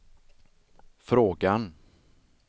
frågan